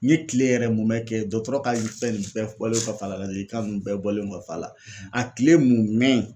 N ye kile yɛrɛ mun mɛ kɛ dɔtɔrɔ ka fɛn nin bɛɛ bɔlen kɔfɛ a la ladilikan ninnu bɛɛ bɔlen kɔfɛ a la a tile mun mɛ